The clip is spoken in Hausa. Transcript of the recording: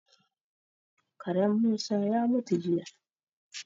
Karen Musa ya mutu jiya.